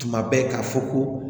Tuma bɛɛ k'a fɔ ko